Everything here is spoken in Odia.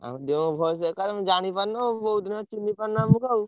ଆମ voice ଏକା ତମେ ଜାଣିପାରୁନ ଆଉ ବୋଧେ ହୁଏ ଚିହ୍ନି ପାରୁନ ଆମୁକୁ ଆଉ।